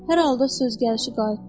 Hər halda söz gəlişi qayıtdı.